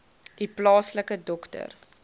u plaaslike dokter